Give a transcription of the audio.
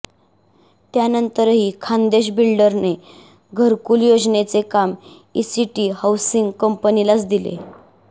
त्यानंतरही खान्देश बिल्डरने घरकुल योजनेचे काम ईसीटी हौसिंग कंपनीलाच दिले